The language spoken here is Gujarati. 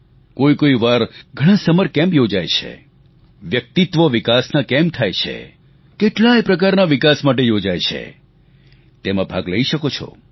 કોઈકોઈ વાર ઘણા સમર કેમ્પ યોજાય છે વ્યક્તિત્વ વિકાસના કેમ્પ થાય છે કેટલાય પ્રકારના વિકાસ માટે યોજાય છે તેમાં ભાગ લઈ શકો છો